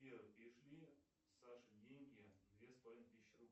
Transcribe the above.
сбер перешли саше деньги две с половиной тысячи